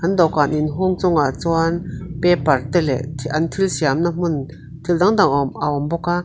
dawhkan inhung chungah chuan paper te leh an thil siamna hmun thil dang dang a awm a awm bawk a.